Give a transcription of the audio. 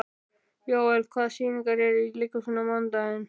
Jóel, hvaða sýningar eru í leikhúsinu á mánudaginn?